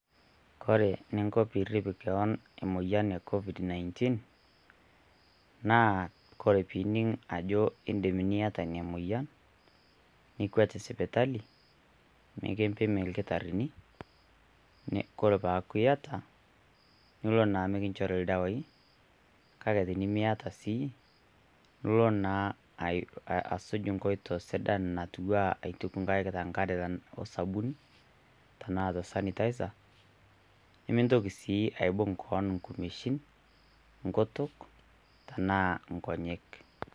Koree inko peyie irr'ip kewon te moyian e covid-19 naa koree pinining' idim aajo ieta nia moyian ikweet sipitali nikimpimi ldakitarini tanaa ietaa niloo naa mikinchorii ldawaii kaake tinimieta sii niloo naa ashuj' nkooto sidhan naatua aituk ng'aik tee ng'are o sabuni taana tee sanitizer nimitoki aibung' koon ngumoshin, ngutuuk taana ngonyek.